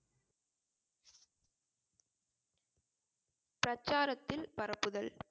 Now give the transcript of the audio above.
பிரச்சாரத்தில் பரப்புதல்